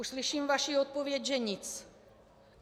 Už slyším vaši odpověď, že nic.